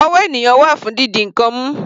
Ọwọ́ ènìyàn wà fún didi ǹkan mú.